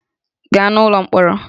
Gaa n'ụlọ mkpọrọ!